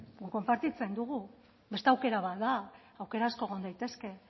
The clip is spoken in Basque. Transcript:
guk konpartitzen dugu beste aukera bat da aukera asko egon daitezke